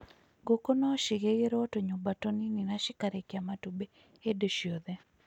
Ngũkũ no cigĩgĩrwo tũnyũmba tũnini na cikarekia matumbĩ hĩndĩ ciothe.